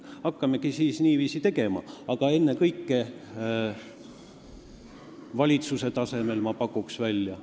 Hakkamegi siis niiviisi tegema, aga ennekõike valitsuse tasemel, ma pakuks välja.